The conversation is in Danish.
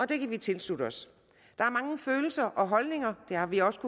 det kan vi tilslutte os der er mange følelser og holdninger det har vi også